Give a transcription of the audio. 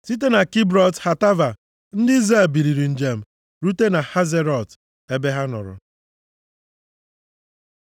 Site na Kibrọt Hataava, ndị Izrel biliri njem rute Hazerọt ebe ha nọrọ.